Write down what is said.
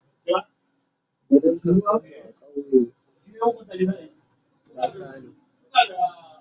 gidan kakan mu a kauye na laka ne